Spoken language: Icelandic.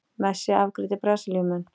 Messi afgreiddi Brasilíumenn